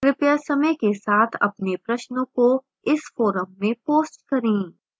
कृपया समय के साथ अपने प्रश्नों को इस forum में post करें